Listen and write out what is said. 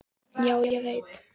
Já, ég veit.